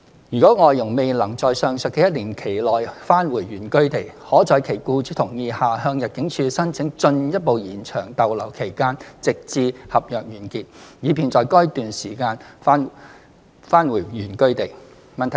如外傭未能在上述的一年期內返回原居地，可在其僱主同意下向入境處申請進一步延長逗留期限直至合約完結，以便在該段期間返回原居地。